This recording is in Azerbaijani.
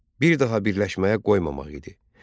bir daha birləşməyə qoymamaq idi.